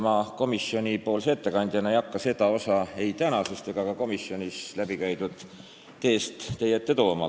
Ma komisjoni ettekandjana ei hakka seda osa ei tänasest arutelust ega ka komisjonis läbikäidud teest teie ette tooma.